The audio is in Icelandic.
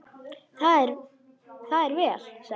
Það er vel, sagði Ari.